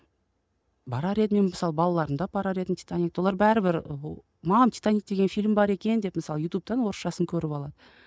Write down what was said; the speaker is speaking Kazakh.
барар едім мен мысалы балаларымды апарар едім титаникті олар бәрібір мам титаник деген фильм бар екен деп мысалы ютубтан орысшасын көріп